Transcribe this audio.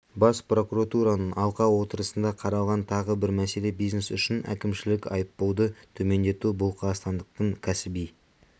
бас прокуратуның алқа отырысында қаралған тағы бір мәселе бизнес үшін әкімшілік айыппұлды төмендету бұл қазақстандықтың кәсіби